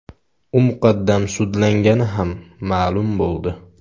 U muqaddam sudlangani ham ma’lum bo‘ldi.